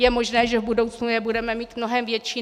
Je možné, že v budoucnu je budeme mít mnohem větší.